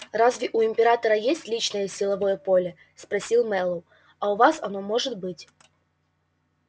разве у императора есть личное силовое поле спросил мэллоу а у вас оно может быть